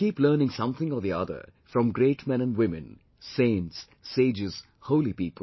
We keep learning something or the other from great men and women, saints, sages, holy people